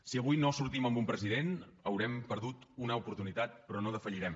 si avui no sortim amb un president haurem perdut una oportunitat però no defallirem